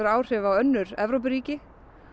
áhrif á önnur Evrópuríki